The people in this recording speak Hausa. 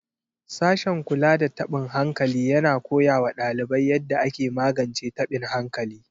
Sashen kula da tabin hankali yana koya wa ɗalibai yadda ake magance taɓin hankali.